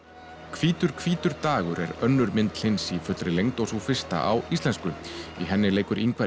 hvítur hvítur dagur er önnur mynd Hlyns í fullri lengd og sú fyrsta á íslensku í henni leikur Ingvar